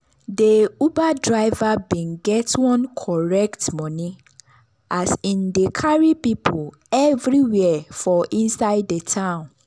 de uber driver bin get one correct money as hin dey carry people everywhere for inside de town.